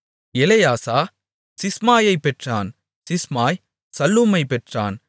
எலெயாசா சிஸ்மாயைப் பெற்றான் சிஸ்மாய் சல்லூமைப் பெற்றான்